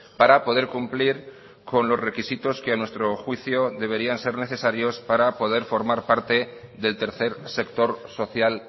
para poder cumplir con los requisitos que a nuestro juicio deberían ser necesarios para poder formar parte del tercer sector social